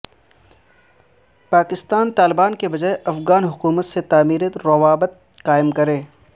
پاکستان طالبان کے بجائے افغان حکومت سے تعمیری روابط قائم کرے